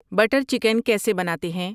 butter chicken کیسے بناتے ہیں